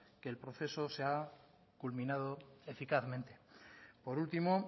que el proceso se ha culminado eficazmente por último